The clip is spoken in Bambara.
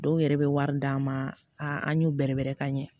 Dɔw yɛrɛ bɛ wari d'an ma a an y'u bɛrɛbɛrɛ ka ɲɛ